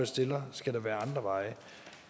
stiller skal der være andre veje